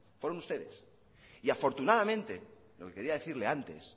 fueron ustedes y afortunadamente lo que quería decirle antes